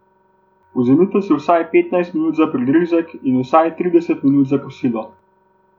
Vzemite si vsaj petnajst minut za prigrizek in vsaj trideset minut za kosilo.